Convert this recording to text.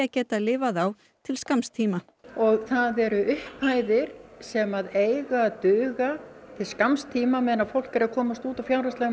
geta lifað á til skamms tíma og það eru upphæðir sem eiga að duga til skamms tíma á meðan fólk er að komast út úr fjárhagslegum